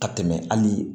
Ka tɛmɛ hali